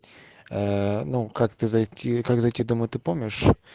аа ну как ты зайти как зайти домой ты помнишь